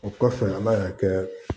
O kɔfɛ ala y'a kɛ